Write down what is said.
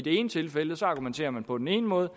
ene tilfælde argumenterer man på den ene måde